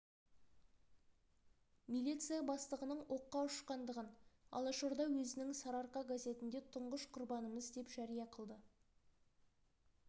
милиция бастығының оққа ұшқандығын алашорда өзінің сарыарқа газетінде тұңғыш құрбанымыз деп жария қылды